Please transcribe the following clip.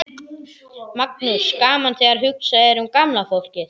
Magnús: Gaman þegar hugsað er um gamla fólkið?